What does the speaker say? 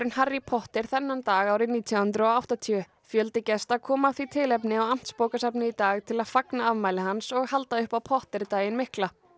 Harry Potter þennan dag árið nítján hundruð og áttatíu fjöldi gesta kom af því tilefni á Amtsbókasafnið í dag til að fagna afmæli hans og halda upp á Potter daginn mikla